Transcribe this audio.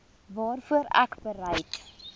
waarvoor ek bereid